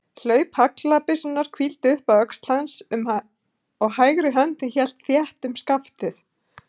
Hlaup haglabyssunnar hvíldi upp að öxl hans og hægri höndin hélt þétt um skaftið.